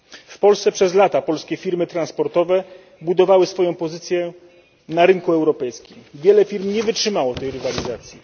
W Polsce przez lata polskie firmy transportowe budowały swoją pozycję na rynku europejskim, wiele firm nie wytrzymało tej rywalizacji.